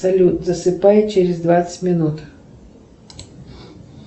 салют засыпай через двадцать минут